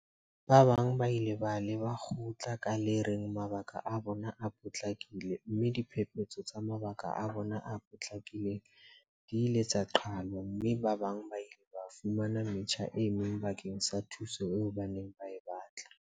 Ba bang ba ile ba leba kgotla ka le reng mabaka a bona a potlakile mme diphephetso tsa mabaka a bona a potlakileng di ile tsa qhalwa mme ba bang ba ile ba fumana metjha e meng bakeng sa thuso eo ba neng ba e batla.